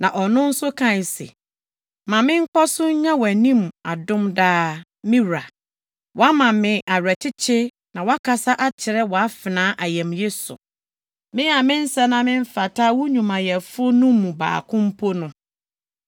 Na ɔno nso kae se, “Ma menkɔ so nnya wʼanim adom daa, me wura. Woama me awerɛkyekye na woakasa akyerɛ wʼafenaa ayamye so, me a mensɛ na memfata wo nnwumayɛfo no mu baako mpo no.”